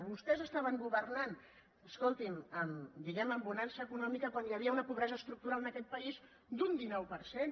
vostès estaven governant escoltin diguem·ne amb bonança econòmica quan hi havia una pobresa estructural en aquest país d’un dinou per cent